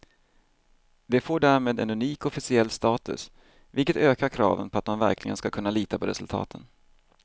Det får därmed en unik officiell status, vilket ökar kraven på att man verkligen ska kunna lita på resultaten.